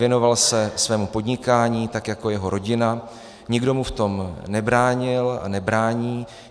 Věnoval se svému podnikání, tak jako jeho rodina, nikdo mu v tom nebránil a nebrání.